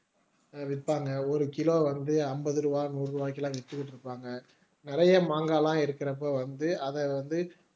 விற்பாங்க ஒரு கிலோ வந்து ஐம்பது ரூபாய் நூறு ரூபாய்க்கு எல்லாம் வித்துட்டு இருப்பாங்க நிறைய மாங்காய் எல்லாம் எடுக்கிறப்ப வந்து அத வந்து